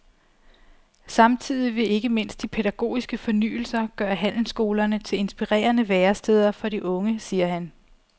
Samtidig vil ikke mindst de pædagogiske fornyelser gøre handelsskolerne til inspirerende væresteder for de unge, siger han.